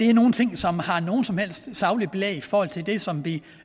er nogle ting som har noget som helst sagligt belæg i forhold til det som vi